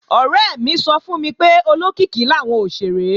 Ọ̀rẹ́ mi sọ fún mi pé olókìkí làwọn òṣèré